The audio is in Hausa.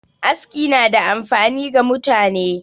Aski na da amfani ga mutane